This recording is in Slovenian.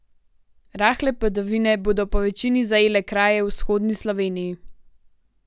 Rahle padavine bodo povečini zajele kraje v vzhodni Sloveniji.